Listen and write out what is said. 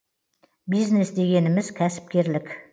бизнес дегеніміз кәсіпкерлік